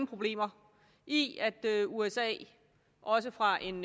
problemer i at at usa også fra en